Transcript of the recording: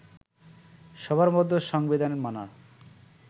সবার মধ্যে সংবিধান মানার